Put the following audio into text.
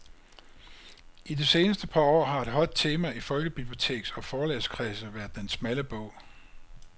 I de seneste par år har et hot tema i folkebiblioteks- og forlagskredse været den smalle bog.